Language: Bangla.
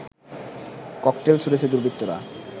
ককটেল ছুঁড়েছে দুর্বৃত্তরা